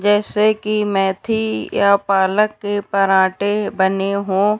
जैसे की मेथी या पालक के पराठे बने हों।